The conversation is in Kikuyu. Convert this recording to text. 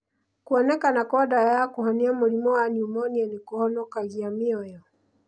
Kũonekana kwa ndawa wa kũhonia mũrimũ wa pneumonia nĩ kũhonokagia mĩoyo.